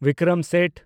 Bikram Seth